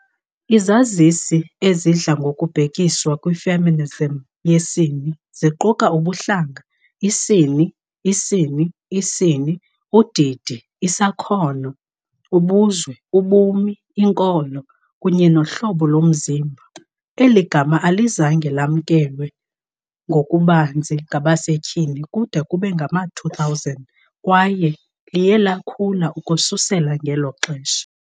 Izazisi ezidla ngokubhekiswa kwi -feminism yesine ziquka ubuhlanga, isini, isini, isini, udidi, isakhono, ubuzwe, ubumi, inkolo, kunye nohlobo lomzimba. Eli gama alizange lamkelwe ngokubanzi ngabasetyhini kude kube ngama-2000 kwaye liye lakhula ukususela ngelo xesha.